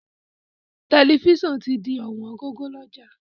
Tẹ̀lifísàn ti di ọ̀wọ́n gógó lọ́jà